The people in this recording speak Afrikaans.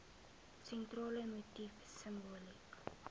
sentrale motief simboliek